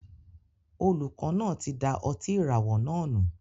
Olùkọ náà tí da ọtí ìràwọ̀ náà nù